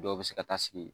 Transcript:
Dɔw bɛ se ka taa sigi